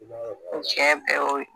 O sɛ bɛɛ y'o ye